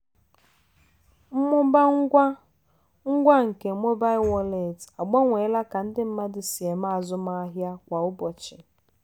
mmụba ngwa ngwa nke mobail wọleetị agbanweela ka ndị mmadụ si eme azụmahịa kwa ụbọchị